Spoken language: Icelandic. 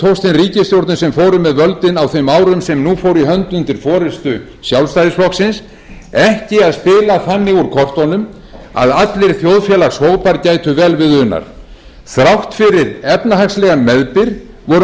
ríkisstjórnum sem fóru með völdin á þeim árum sem nú fóru í hönd undir forustu sjálfstæðisflokksins ekki að spila þannig úr kortunum að allir þjóðfélagshópar gætu vel við unað þrátt fyrir efnahagslegan meðbyr voru nú stórir hópar